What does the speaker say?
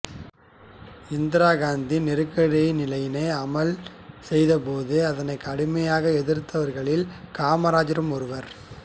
இந்திரா காந்தி நெருக்கடி நிலையினை அமல் செய்தபோது அதனைக் கடுமையாக எதிர்த்தவர்களில் காமராசரும் ஒருவர்